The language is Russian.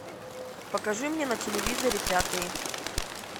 покажи мне на телевизоре пятый